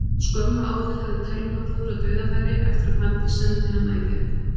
Skömmu áður hafði Telma klúðrað dauðafæri eftir að Fanndís sendi hana í gegn.